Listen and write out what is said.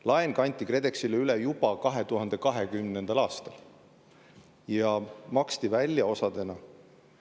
Laen kanti KredExile üle juba 2020. aastal ja maksti välja osadena.